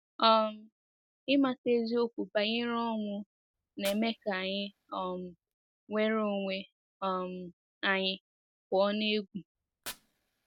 um Ịmata eziokwu banyere ọnwụ na-eme ka anyị um nwere onwe um anyị pụọ n’egwu.